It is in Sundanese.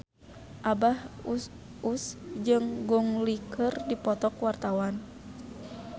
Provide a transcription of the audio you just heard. Abah Us Us jeung Gong Li keur dipoto ku wartawan